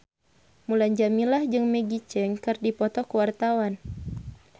Mulan Jameela jeung Maggie Cheung keur dipoto ku wartawan